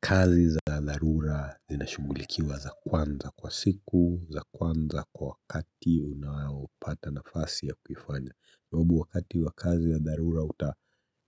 Kazi za dharura zinashughulikiwa za kwanza kwa siku, za kwanza kwa wakati unaopata nafasi ya kuifanya Kwasabu wakati wa kazi ya dharura uta